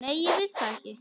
Nei, ég vil það ekki.